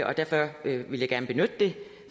og derfor vil jeg gerne benytte det